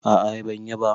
A'a ban yi ba.